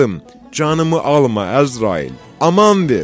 Canımı alma, Əzrail, aman ver!